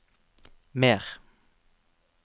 mer